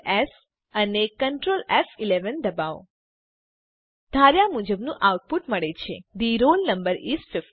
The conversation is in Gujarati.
CtrlS અને Ctrl ફ11 દબાવો આપણને ધાર્યા મુજબનું આઉટપુટ મળે છે થે રોલ નંબર ઇસ 50